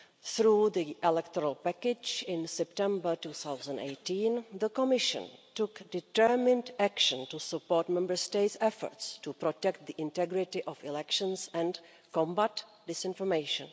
Through the electoral package in September 2018, the Commission took determined action to support Member States' efforts to protect the integrity of elections and combat disinformation.